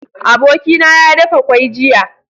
Abokina ya dafa kwai jiya